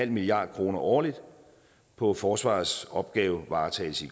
milliard kroner årligt på forsvarets opgavevaretagelse